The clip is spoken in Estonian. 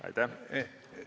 Aitäh!